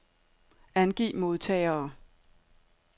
Angiv modtagere.